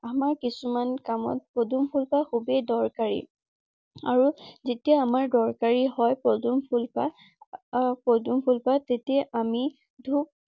আমাৰ কিছুমান কামত পদুম ফুলপাহ খুবেই দৰকাৰী। আৰু যেতিয়া আমাৰ দৰকাৰী হয় পদুম ফুলপাহ আহ পদুম ফুলপাহ তেতিয়া আমি ধূক